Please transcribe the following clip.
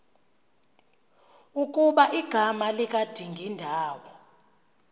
ukuba igama likadingindawo